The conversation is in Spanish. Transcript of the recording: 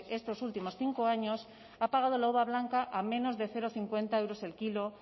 estos últimos cinco años ha pagado la uva blanca a menos de cero coma cincuenta euros el kilo